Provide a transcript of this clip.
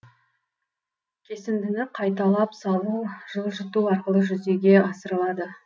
кесіндіні қайталап салу жылжыту арқылы жүзеге асырылады